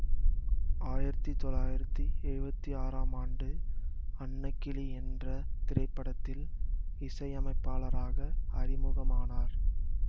ஆயிரத்தி தொள்ளாயிரத்தி எழுவத்தி ஆறாம் ஆண்டு அன்னக்கிளி என்ற திரைப்படத்தில் இசையமைப்பாளராக அறிமுகமானார்